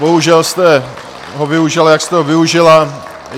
Bohužel jste ho využila, jak jste ho využila.